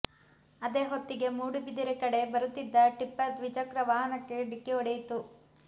ಅದೇ ಹೊತ್ತಿಗೆ ಮೂಡುಬಿದಿರೆ ಕಡೆ ಬರುತ್ತಿದ್ದ ಟಿಪ್ಪರ್ ದ್ವಿಚಕ್ರ ವಾಹನಕ್ಕೆ ಡಿಕ್ಕಿ ಹೊಡೆಯಿತು